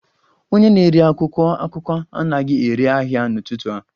Onye na-ere akwụkwọ akụkọ anaghị ere ahịa n'ụtụtụ a